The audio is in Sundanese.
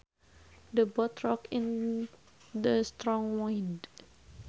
The boat rocked in the strong wind